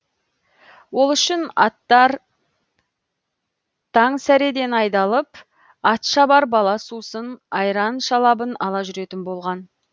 ол үшін аттар таң сәреден айдалып ат шабар бала сусын айран шалабын ала жүретін болған